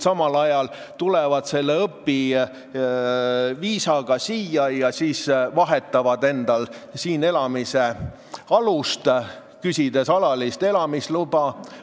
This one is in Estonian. Nad tulevad õpiviisaga siia ja siis vahetavad siinviibimise alust, küsides alalist elamisluba.